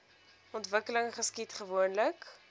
ontwikkeling geskied gewoonlik